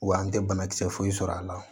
Wa an tɛ banakisɛ foyi sɔrɔ a la